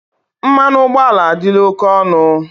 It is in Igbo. Mmanụ ụgbọala adịla oke ọnụ.